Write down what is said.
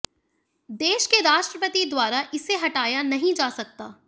देश के राष्ट्रपति द्वारा इसे हटाया नहीं जा सकता